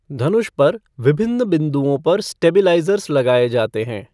धनुष पर विभिन्न बिंदुओं पर स्टेबिलाइज़र्स लगाए जाते हैं।